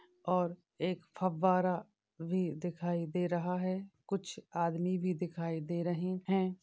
और एक फव्वारा भी दिखाई दे रहा है कुछ आदमी भी दिखाई दे रहे है।